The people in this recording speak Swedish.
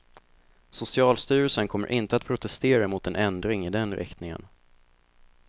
Socialstyrelsen kommer inte att protestera mot en ändring i den riktningen.